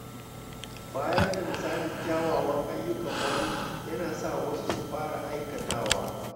Bayar da misalin kyawawan ayyuka wani yana sa wasu su fara aikatawa